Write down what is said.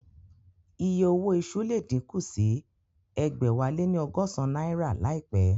Iye owó iṣu le díkù sí ẹgbẹ̀wáléní ọgọ́san náírà láìpẹ́